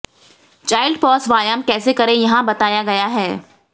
child pose व्यायाम कैसे करें यहां बताया गया है